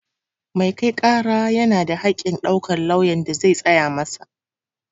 Mai kai ƙara yana da haƙƙin ɗaukar lauyan da zai tsaya masa